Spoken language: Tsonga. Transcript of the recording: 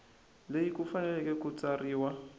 leyi ku fanele ku tsariwa